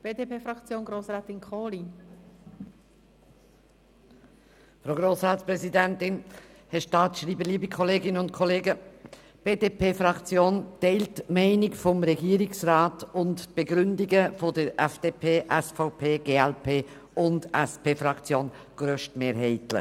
Die BDP-Fraktion teilt die Meinung des Regierungsrats und die Begründungen der FDP-, SVP-, glp- und der SP-JUSO-PSA-Fraktion grossmehrheitlich.